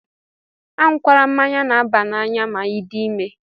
Añukwala mmanya na-aba n'anya ma I dị ime!